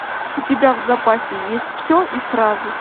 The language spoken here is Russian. у тебя в запасе есть все и сразу